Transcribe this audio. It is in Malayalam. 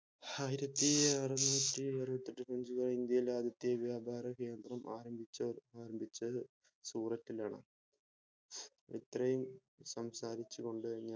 ആയിരത്തിഅറുന്നൂട്ടി അറുപത്തെട്ട്‍ ഇന്ത്യയിലെ ആദ്യത്തെ വ്യാപാര കേന്ദ്രം ആരംഭിച്ചത് സൂറത്തിൽ ആണ് ഇത്രയും സംസാരിച്ചു കൊണ്ട്